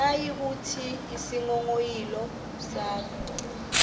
nayikuthi isinghonghoyilo sakho